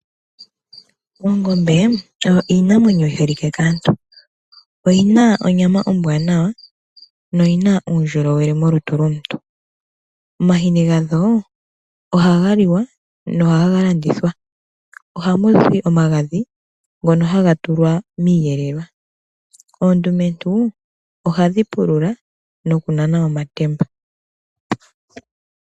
Oongombe odho iinamwenyo yi jolike kaantu. Oyi na onyama ombwaanawa noyi na uundjolowele molutu lomuntu. Omahini gadho ohaga liwa nohaga landithwa. Ohamu zi omagadhi ngono haga tulwa miiyelelwa. Oondumentu ohadhi pulula nokunana omatemba.